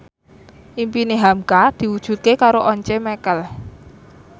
impine hamka diwujudke karo Once Mekel